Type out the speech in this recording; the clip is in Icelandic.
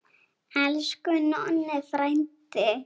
Elsku Nonni frændi.